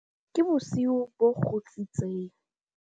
ke bosiu bo kgutsitseng